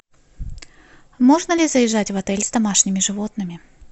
можно ли заезжать в отель с домашними животными